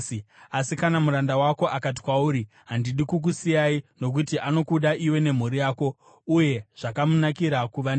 Asi kana muranda wako akati kwauri, “Handidi kukusiyai,” nokuti anokuda iwe nemhuri yako uye zvakamunakira kuva newe,